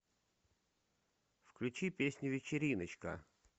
включи песню вечериночка